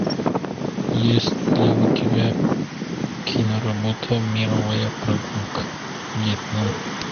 есть ли у тебя киноработа мировая прогулка вьетнам